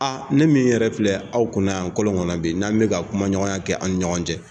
ne min yɛrɛ filɛ aw kunna yan kɔlɔŋɔnɔ be n'an bɛ ka kumaɲɔgɔnya kɛ an' ni ɲɔgɔn cɛ